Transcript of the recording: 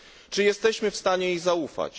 Czy jesteśmy w stanie jej zaufać?